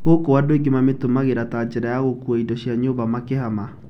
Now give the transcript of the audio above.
Gũkũ angĩ mamĩtũmagĩra tanjira ya gũkua indo cia nyũmba makĩhama.